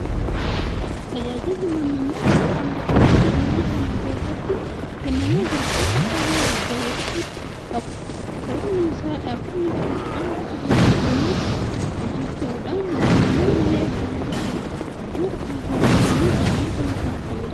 Tajaajilli lammummaa sadarkaa mootummaatti biyya kana keessatti kennamaa jiru waanta baay'ee jajjabeeffamuu qabudha. Sababni isaas dhaabbanni kun hanga sadarkaa addunyaatti hojjechuudhaan lammiilee biyya kanaa biyyoota kaan keessa jiraniif wabii ta'uudhaan fayyadaa jira.